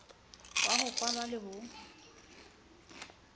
ya ho falwa le ho